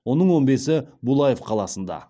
оның он бесі булаев қаласында